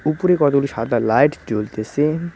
উপরে কতগুলি সাদা লাইট জ্বলতেছে।